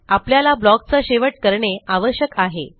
आपल्याला blockचा शेवट करणे आवश्यक आहे